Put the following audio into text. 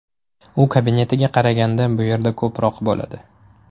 U kabinetiga qaraganda bu yerda ko‘proq bo‘ladi.